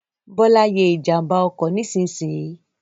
Bọ́lá ye ìjànbá ọkọ̀ nísinsìnyì